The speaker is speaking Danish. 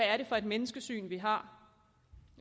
er for et menneskesyn vi har